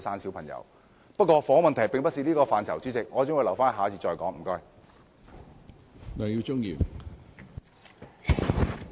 主席，由於房屋問題不屬於這個辯論環節，我會留待下一個辯論環節再談。